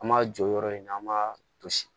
An m'a jɔ yɔrɔ in na an b'a to sigi